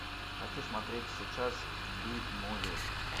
хочу смотреть сейчас би муви